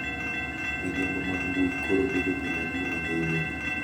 Midhiambo mag mbui koro bedo gima duong' ahinya